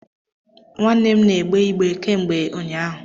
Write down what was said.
Nwanne m n'egbe igbe kemgbe ụñyaahu.